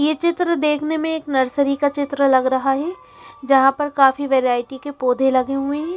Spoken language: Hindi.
ये चित्र देखने में एक नर्सरी का चित्र लग रहा है जहा पर काफी वेराइटी के पोधे लगे हुए है।